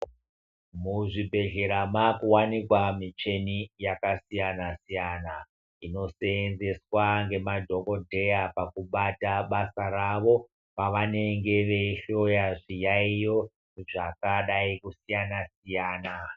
Muzvibhedhlera makuwanikwa micheni yakasiyana siyana, inosenzeswa ngemadhokodheya pakubata basa ravo pavanenge veyihloya zviyayiyo zvakadai kusiyana siyana.